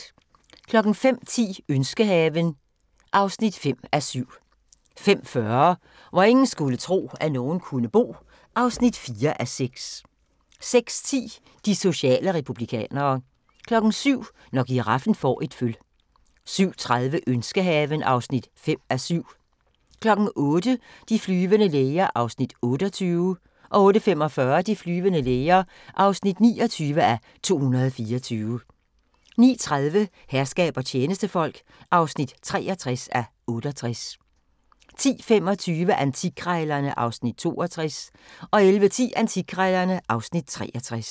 05:10: Ønskehaven (5:7) 05:40: Hvor ingen skulle tro, at nogen kunne bo (4:6) 06:10: De sociale republikanere 07:00: Når giraffen får et føl 07:30: Ønskehaven (5:7) 08:00: De flyvende læger (28:224) 08:45: De flyvende læger (29:224) 09:30: Herskab og tjenestefolk (63:68) 10:25: Antikkrejlerne (Afs. 62) 11:10: Antikkrejlerne (Afs. 63)